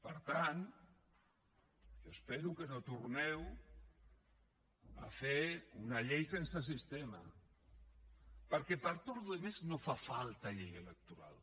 per tant jo espero que no torneu a fer una llei sense sistema perquè per a tota la resta no fa falta llei electoral